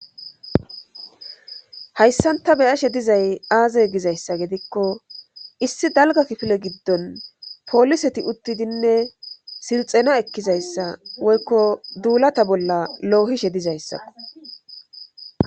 hayssanta beyashe dizay aaze gizayssa gedikko issi dalga kifile giddon pooliseti uttidinne silxena ekkizayssa woykko duulata bolla loohishe dizayssakko